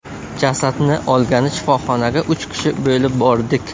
Jasadni olgani shifoxonaga uch kishi bo‘lib bordik.